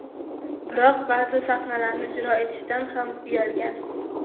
Biroq ba’zi sahnalarni ijro etishdan ham uyalgan.